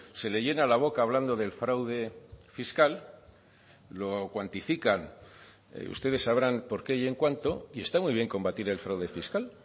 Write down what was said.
se le llena la boca hablando del fraude fiscal lo cuantifican ustedes sabrán porqué y en cuánto y está muy bien combatir el fraude fiscal